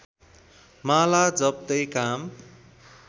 माला जप्तै काम